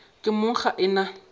ke mong ga e na